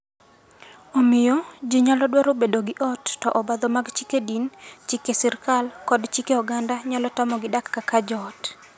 Omiyo, jii nyalo dwaro bedo gi ot, to obadho mag chike din, chike sirkal, kod chike oganda nyalo tamogi dak kaka joot.